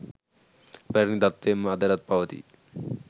පැරණි තත්ත්වයෙන්ම අදටත් පවතී.